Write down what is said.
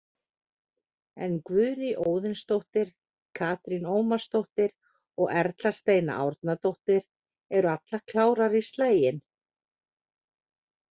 En Guðný Óðinsdóttir, Katrín Ómarsdóttir og Erla Steina Árnadóttir eru allar klárar í slaginn.